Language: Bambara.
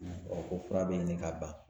ko fura bɛ ɲini ka ban